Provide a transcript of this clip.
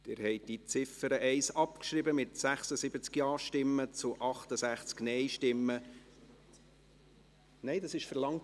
Sie haben die Ziffer 1 abgeschrieben, mit 76 Ja- zu 68 Nein-Stimmen und 0 Enthaltungen.